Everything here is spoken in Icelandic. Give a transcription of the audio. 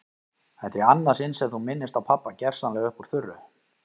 Þetta er í annað sinn sem þú minnist á pabba gersamlega upp úr þurru.